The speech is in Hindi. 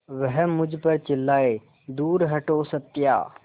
वह मुझ पर चिल्लाए दूर हटो सत्या